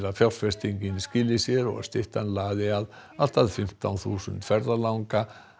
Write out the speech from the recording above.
fjárfestingin skili sér og styttan laði allt að fimmtán þúsund ferðalanga